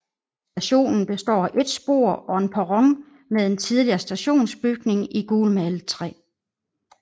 Stationen består af et spor og en perron med en tidligere stationsbygning i gulmalet træ